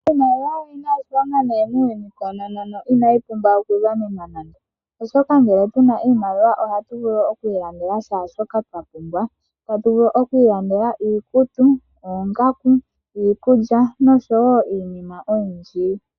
Iimaliwa oyi na iilona nayi muuyuni koonono ina ti pumbwa okugamenwa nande, oshoka ngele tuna na iimaliwa ohatu vulu oku ilandela shaashoka twa pumbwa. Ohatu vulu oku ilandela iikutu, oongaku, iikulya noshowo iinima oyindji.